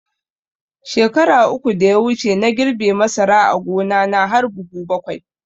Shekara uku da ya wuce na girbe masara a gona na har buhu bakwai